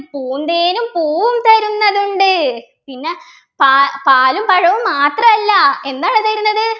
പൂന്തേനും പൂവും തരുന്നതുണ്ട് പിന്നെ പാ പാലും പഴവും മാത്രമല്ല എന്താണ് തരുന്നത്